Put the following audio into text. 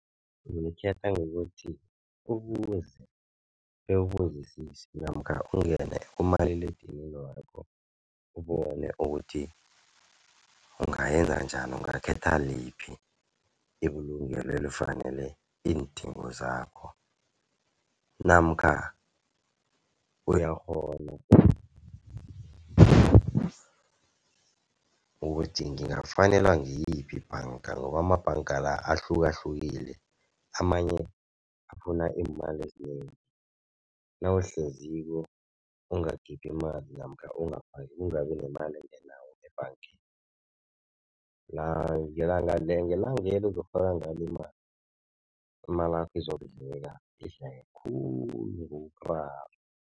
Ulikhetha ngokuthi ubuze, bewubuzisise namkha ungene kumaliledinini wakho ubone ukuthi ungayenza njani, ungakhetha liphi ibulungelo elifanele iindingo zakho, namkha uyakghona ukuthi ngingafanelwa ngiyiphi ibhanga ngoba amabhanga la ahlukahlukile. Amanye afuna iimali ezinengi, nawuhleziko ungakhiphi imali namkha ungabi nemali engenako ngebhangeni ngelangelo uzokufaka ngalo imali, imalakho izokudleka idleke khulu